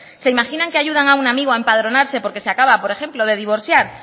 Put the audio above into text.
se imaginan que ayudan a un amigo a empadronarse porque se acaba por ejemplo de divorciar